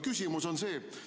Küsimus on järgmine.